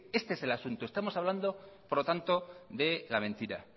este es el asunto estamos hablando por lo tanto de la mentira